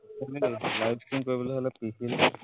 live stream কৰিবলে হলে